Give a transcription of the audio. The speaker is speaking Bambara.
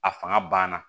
A fanga ban na